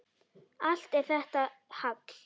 Allt er þetta hagl.